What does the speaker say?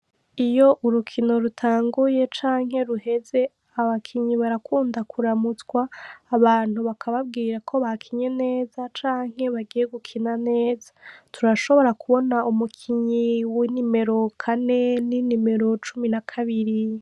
Iyo urukino rutanguye canke ruheze abakinnyi barakundwa kuramutswa abantu bakababwira ko bakinye neza canke bagiye gukina neza turashobora kubona umukinyi w'inomero kane ninimero cumi n'akabiri.